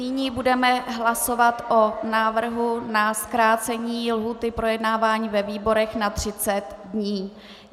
Nyní budeme hlasovat o návrhu na zkrácení lhůty projednávání ve výborech na 30 dní.